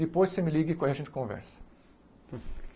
Depois você me liga e con aí a gente conversa.